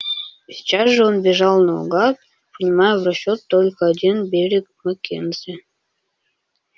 сейчас же он бежал наугад принимая в расчёт только один берег маккензи